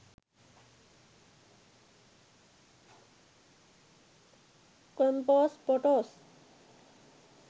compost photos